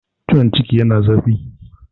ciwon ciki yana zafi